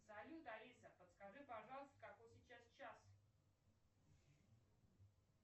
салют алиса подскажи пожалуйста какой сейчас час